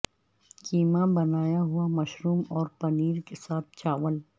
کیما بنایا ہوا مشروم اور پنیر کے ساتھ چاول